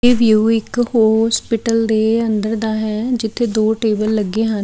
ਇਹ ਵਿਊ ਇੱਕ ਹੋਸਪੀਟਲ ਦੇ ਅੰਦਰ ਦਾ ਹੈ ਜਿੱਥੇ ਦੋ ਟੇਬਲ ਲੱਗੇ ਹਨ।